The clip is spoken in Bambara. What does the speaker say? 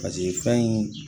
fɛn in